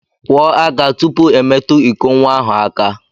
Kwọọ aka tụpụ I metu ịkọ nwa ahụ aka!